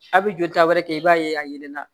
A' bɛ jolita wɛrɛ kɛ i b'a ye a yeelenna